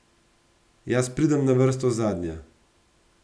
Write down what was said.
Jaz pridem na vrsto zadnja.